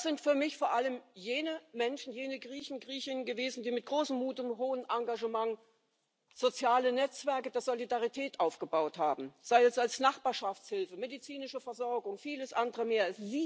Das sind für mich vor allem jene Menschen, jene Griechinnen und Griechen gewesen, die mit großem Mut und hohem Engagement soziale Netzwerke der Solidarität aufgebaut haben, sei es als Nachbarschaftshilfe, medizinische Versorgung, vieles andere mehr.